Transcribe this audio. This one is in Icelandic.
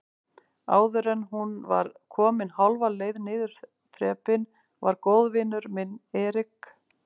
Áðuren hún var komin hálfa leið niður þrepin var góðvinur minn Erik